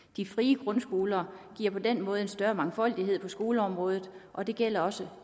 de frie grundskoler giver på den måde en større mangfoldighed på skoleområdet og det gælder også